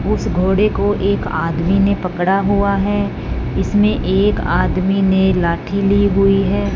उस घोड़े को एक आदमी ने पकड़ा हुआ है इसमें एक आदमी ने लाठी ली हुई है।